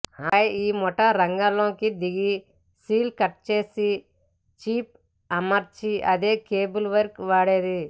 ఆపై ఈ ముఠా రంగంలోకి దిగి సీల్ కట్చేసి చిప్ అమర్చి అదే కేబుల్ వైర్ వాడేది